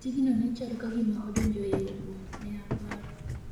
"Tigno ne chalo kagima odonjo e oboo,"ne oparo.